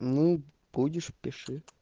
ну будешь пиши